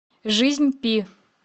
жизнь пи